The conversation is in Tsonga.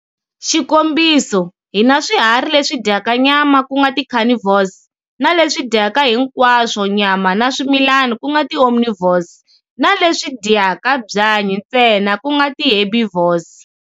Xikombiso hi na swiharhi leswi dyaka nyama ku nga ti carnivores, na leswi dyaka hinkwaswo nyama na swimilani ku nga ti omnivores, na leswi dyaku byanyi ntsena ku nga ti herbivores.